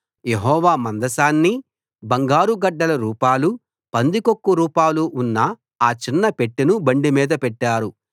యెహోవా మందసాన్ని బంగారు గడ్డల రూపాలూ పందికొక్కు రూపాలూ ఉన్న ఆ చిన్న పెట్టెను బండిమీద పెట్టారు